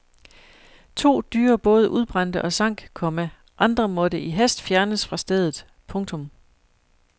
To dyre både udbrændte og sank, komma andre måtte i hast fjernes fra stedet. punktum